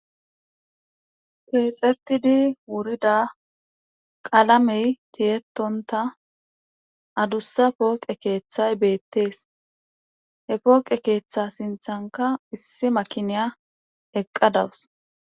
keexetidi wurida qalamey tiyettontta adussa pooqe keeththay beettees. he pooqe keeththa sinthankka issi makiniya eqqa dawus.